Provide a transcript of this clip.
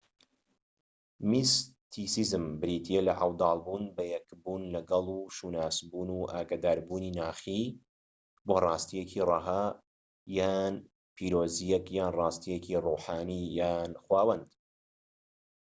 میستیسزم بریتیە لە عەودال بوون بە یەکبوون لەگەڵ و شوناسبوون و ئاگاداربوونی ناخیی بۆ ڕاستیەکی رەها یان پیرۆزییەك یان ڕاستیەکی ڕوحانی یان خوداوەند